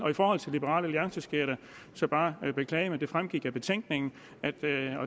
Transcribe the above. liberal alliance skal jeg så bare beklage men det fremgik af betænkningen